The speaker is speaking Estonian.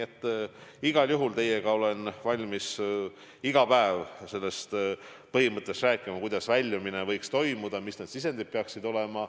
Aga igal juhul olen ma valmis teiega iga päev rääkima sellest, kuidas väljumine võiks toimuda, mis need sisendid peaksid olema.